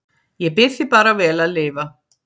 Ég bið þig bara vel að lifa